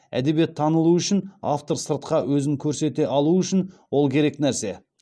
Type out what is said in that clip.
әдебиет танылуы үшін автор сыртқа өзін көрсете алуы үшін ол керек нәрсе